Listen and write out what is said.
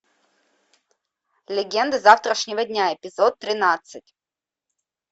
легенда завтрашнего дня эпизод тринадцать